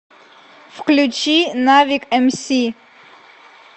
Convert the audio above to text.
включи навик эмси